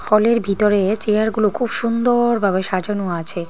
হলের ভিতরে চেয়ারগুলো খুব সুন্দরভাবে সাজানো আছে।